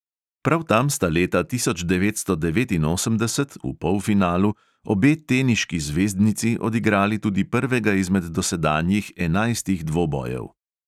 Prav tam sta leta tisoč devetsto devetinosemdeset (v polfinalu) obe teniški zvezdnici odigrali tudi prvega izmed dosedanjih enajstih dvobojev.